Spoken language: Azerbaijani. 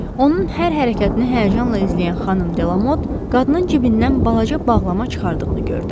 Onun hər hərəkətini həyəcanla izləyən Xanım Delamot qadının cibindən balaca bağlama çıxardığını gördü.